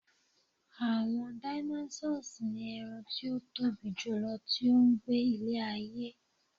àwọn dinosaurs ti eran ti o Tobi jùlọ ti o gbe ile ayé